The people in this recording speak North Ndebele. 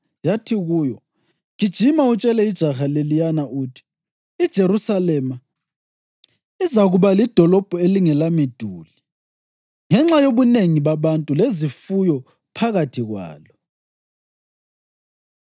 yathi kuyo: “Gijima utshele ijaha leliyana uthi, ‘IJerusalema izakuba lidolobho elingelamiduli ngenxa yobunengi babantu lezifuyo phakathi kwalo.